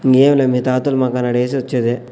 ఇంగేమిలే మీ తాతలు మాకానాడు ఎసొచ్చేది.